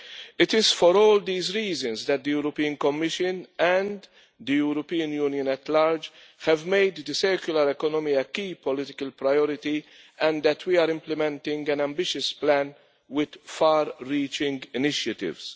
It is for all these reasons that the European Commission and the European Union at large have made the circular economy a key political priority and that we are implementing an ambitious plan with far reaching initiatives.